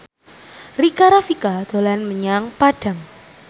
Rika Rafika dolan menyang Padang